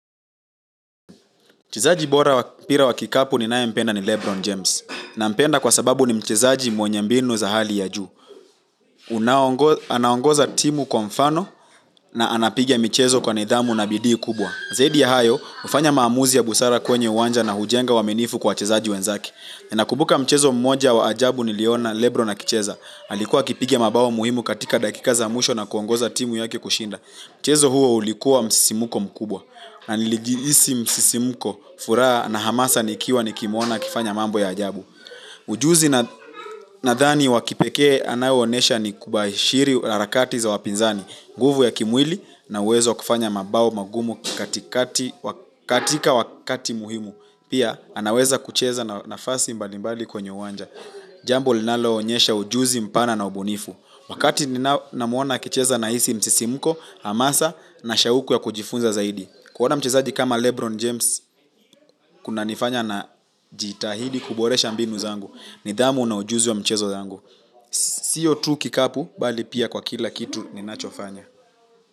Mchezaji bora wa mpira wa kikapu ninayempenda ni Lebron James. Nampenda kwa sababu ni mchezaji mwenye mbinu za hali ya juu, unao. Anaongoza timu kwa mfano na anapiga michezo kwa nidhamu na bidii kubwa. Zaidi ya hayo, hufanya maamuzi ya busara kwenye uwanja na hujenga uaminifu kwa wachezaji wenzake. Ninakumbuka mchezo mmoja wa ajabu niliona, Lebron akicheza. Alikuwa akipiga mabao muhimu katika dakika za mwisho na kuongoza timu yake kushinda. Mchezo huo ulikuwa wa msisimko mkubwa. Na nilijihisi msisimko furaha na hamasa nikiwa nikimuona akifanya mambo ya ajabu. Ujuzi nadhani wa kipekee anayoonyesha ni kubashiri harakati za wapinzani, nguvu ya kimwili na uwezo wa kufanya mabao magumu katika wakati muhimu. Pia anaweza kucheza nafasi mbalimbali kwenye uwanja. Jambo linaloonyesha ujuzi mpana na ubunifu. Wakati ninamuona akicheza nahisi msisimko, hamasa na shauku ya kujifunza zaidi. Kuona mchezaji kama Lebron James, kunanifanya najitahidi kuboresha mbinu zangu, nidhamu na ujuzi wa mchezo yangu. Siyo tu kikapu, bali pia kwa kila kitu ninachofanya.